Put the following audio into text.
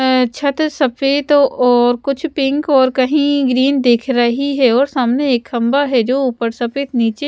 अ छत सफेद और कुछ पिंक और कहीं ग्रीन दिख रही है और सामने एक खंभा है जो ऊपर सफेद नीचे--